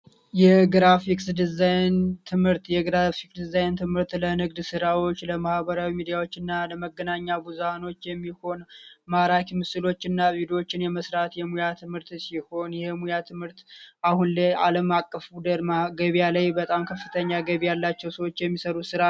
የግራፊክስ ዲዛይን ትምህርት ዲዛይን ትምህርት ስራዎች ለማህበራዊ ሚዲያዎችና ለመገናኛ ብዙሃኖች የሚሆን ማራኪ ምስሎችና ሌሎችን የምርት ሙያ ትምህርት ሲሆን የሙያ ትምህርት አለም አቀፍ ገበያ ላይ በጣም ከፍተኛ ገብ ያላቸው ሰዎች የሚሰሩ ስራ